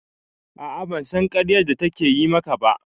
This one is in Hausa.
A'a ban san ƙaryar da ta yi ma ka ba